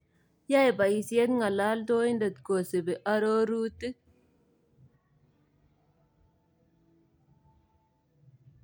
Yaae bayiisyet ng�alaaltooyiintet kosiibi aroruutik